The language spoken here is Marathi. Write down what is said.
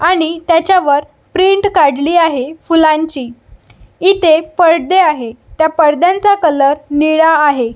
आणि त्याच्या वर प्रिंट काढली आहे फुलांची इथे पडदे आहे त्या पडद्यांचा कलर निळा आहे.